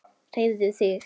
Hreyfðu þig.